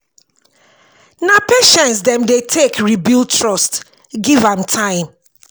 na patience dem dey take re-build trust give am time.